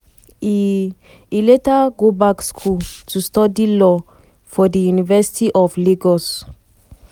e e later go back school to study law for di university of lagos.